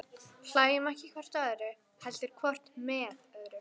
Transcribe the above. Hlæjum ekki hvort að öðru, heldur hvort með öðru.